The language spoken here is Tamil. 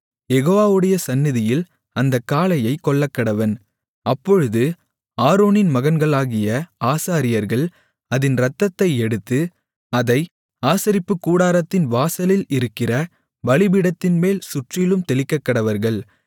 யெகோவாவுடைய சந்நிதியில் அந்தக் காளையைக் கொல்லக்கடவன் அப்பொழுது ஆரோனின் மகன்களாகிய ஆசாரியர்கள் அதின் இரத்தத்தை எடுத்து அதை ஆசரிப்புக்கூடாரத்தின் வாசலில் இருக்கிற பலிபீடத்தின்மேல் சுற்றிலும் தெளிக்கக்கடவர்கள்